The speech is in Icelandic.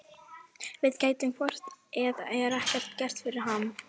Við gætum hvort eð er ekkert gert fyrir hann.